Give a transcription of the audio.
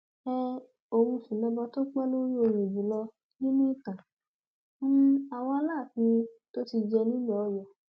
um òun sì lọba tó pẹ lórí òye jù lọ nínú ìtàn um àwọn aláàfin tó ti jẹ nílùú ọyọ